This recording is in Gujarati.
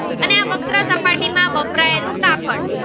એટલું કાપડ